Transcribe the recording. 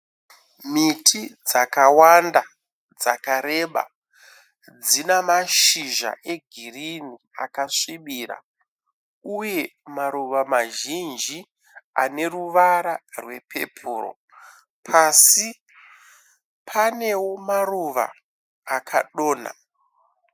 Miti yakawanda yakareba, ina mashizha egirinhi akasvibira. Uya maruva mazhinji ane ruvara rwepepuru. Pasi panewo maruva akadonha.